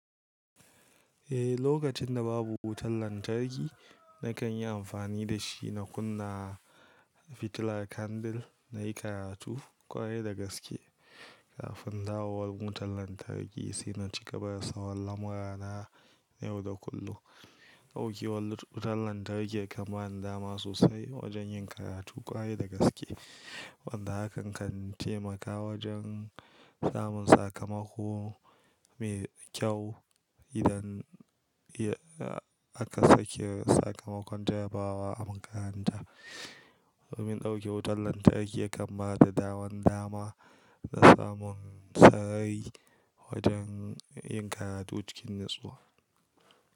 Eh, lokacin da babu wutar lantarki, na kan yi amfani da shi na kunna fitilar kandil na yi karatu ƙwarai da gaske. Kafin dawowar wutar lantarki sai na ci gaba da sauran lamurana yau da kullum. Ɗaukewar wutar lantarki ya kam bani dama sosai wajen yin karatu ƙwaye da gaske. Wanda hakan kan taimaka wajen samun sakamako mai kyau idan aka sake sakamakon jarabawa a makaranta. Domin ɗauke wutar lantarki ya kan bani daman dama da samun sarari wajen yin karatu cikin natsuwa.